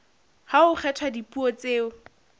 ha ho kgethwa dipuo tseo